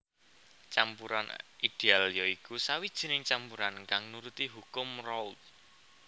Campuran ideal ya iku sawijining campuran kang nuruti hukum Raoult